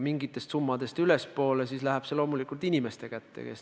Mingitest summadest ülespoole läheb tehingute hindamine loomulikult inimeste kätte.